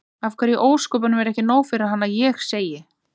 Af hverju í ósköpunum er ekki nóg fyrir hann að ég segi